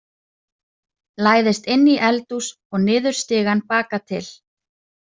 Læðist inn í eldhús og niður stigann baka til.